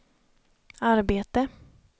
arbete